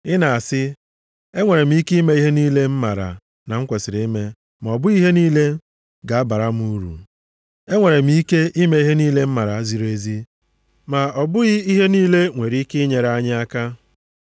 Ị na-asị, “Enwere m ike ime ihe niile m maara na m kwesiri ime,” ma ọ bụghị ihe niile ga-abara m uru. “Enwere m ike ime ihe niile m maara ziri ezi,” ma ọ bụghị ihe niile nwere ike inyere anyị aka.